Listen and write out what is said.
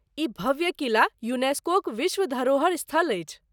ई भव्य किला यूनेस्कोक विश्व धरोहर स्थल अछि।